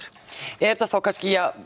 er þetta þá kannski